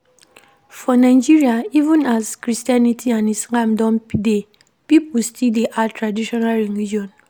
For Nigeria even as Christianity and Islam don dey, pipo still dey add traditional religion